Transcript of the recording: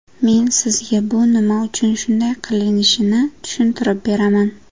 Men sizga bu nima uchun shunday qilinishini tushuntirib beraman.